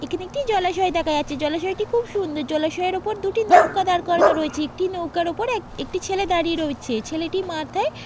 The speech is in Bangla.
এখানে একটি জলাশয় দেখা যাচ্ছে। জলাশয় টি খুব সুন্দর। জলাশয়ের ওপর দুটি নৌকা দাঁড় করানো রয়েছে। একটি নৌকার ওপরে এক একটি ছেলে দাঁড়িয়ে রয়েছে। ছেলেটির মাথায় --